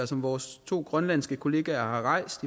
som vores to grønlandske kollegaer har rejst